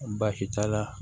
Baasi t'a la